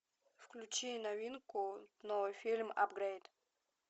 включи новинку новый фильм апгрейд